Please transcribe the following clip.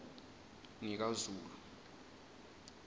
ngikazulu